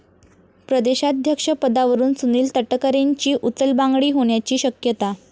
प्रदेशाध्यक्ष पदावरून सुनील तटकरेंची उचलबांगडी होण्याची शक्यता